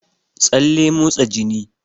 Tsalle motsa jini